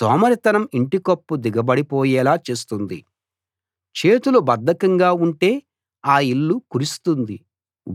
సోమరితనం ఇంటికప్పు దిగబడిపోయేలా చేస్తుంది చేతులు బద్ధకంగా ఉంటే ఆ ఇల్లు కురుస్తుంది